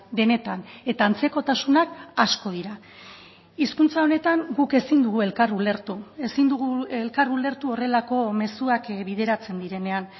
denetan eta antzekotasunak asko dira hizkuntza honetan guk ezin dugu elkar ulertu ezin dugu elkar ulertu horrelako mezuak bideratzen direnean